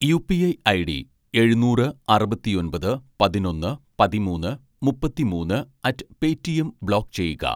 UPI ID എഴുന്നൂറ് അറുപത്തിയൊൻപത് പതിനൊന്ന് പതിമൂന്ന് മുപ്പത്തിമൂന്ന് അറ്റ്‌ പേയ്റ്റിഎം ബ്ലോക്ക് ചെയ്യുക